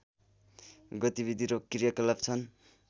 गतिविधि र क्रियाकलाप छन्